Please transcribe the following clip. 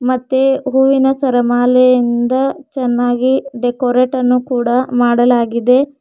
ಮತ್ತೆ ಹೂವಿನ ಸರಮಾಲೆಯಿಂದ ಚೆನ್ನಾಗಿ ಡೆಕೋರೇಟ್ ಅನ್ನು ಕೂಡ ಮಾಡಲಾಗಿದೆ.